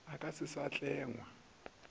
e ka se sa tlengwa